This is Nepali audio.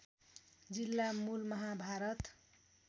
जिल्ला मुल महाभारत